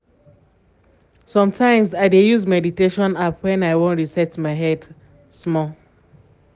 sometimes i dey use meditation app when i wan reset my head head small.